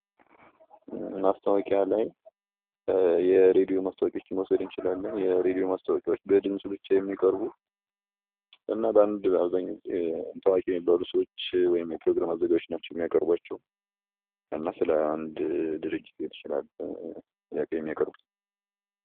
ማስታዋቂያ ላይ የሬዲዮ ማስታወቂያዎችን መውሰድ እንችላለን። የሬዲዮ ማስታወቂያዎች በድምጽ ብቻ የሚቀርቡ እና በአንድ አብዛኛዉን ጊዜ ታዋቂ የሆኑ ሰዎች ወይም የፕሮግራም አዘጋጆች ናቸው የሚያቀርብዋቸው፤ እና ስለአንድ ድርጅት ሊሆን ይችላል የሚያቀርቡት።